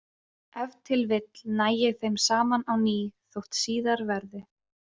Ef til vill næ ég þeim saman á ný þótt síðar verði.